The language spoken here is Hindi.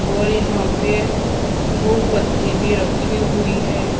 और यहां पे भुप बत्ती भी रखी हुई है।